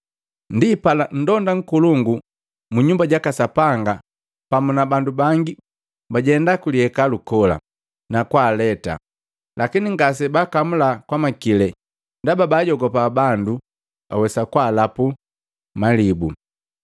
Ndipala nndonda nkolongu mu Nyumba jaka Sapanga pamu na bandu bangi bajendaa kuliekalu kola, na kwaaleta. Lakini ngase baakamula kwamakili, ndaba bajogopa bandu awesa kwapega na malibu.